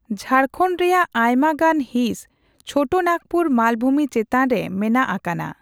ᱡᱷᱟᱲᱠᱷᱚᱸᱰ ᱨᱮᱭᱟᱜ ᱟᱭᱢᱟ ᱜᱟᱱ ᱦᱤᱸᱥ ᱪᱷᱳᱴᱚ ᱱᱟᱜᱽᱯᱩᱨ ᱢᱟᱞᱵᱷᱩᱢᱤ ᱪᱮᱛᱟᱱᱨᱮ ᱢᱮᱱᱟᱜ ᱟᱠᱟᱱᱟ ᱾